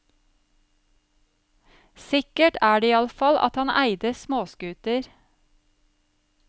Sikkert er det iallfall at han eide småskuter.